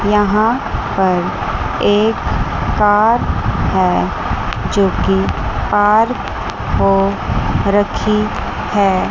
यहां पर एक कार है जो कि कार को रखी है।